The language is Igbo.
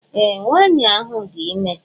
Ee! Nwaanyị ahụ dị ime.